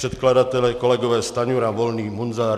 Předkladatelé kolegové Stanjura, Volný, Munzar.